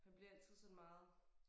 Han bliver altid sådan meget